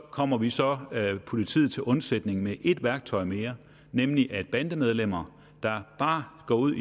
kommer vi så politiet til undsætning med et værktøj mere nemlig at bandemedlemmer der bare går ud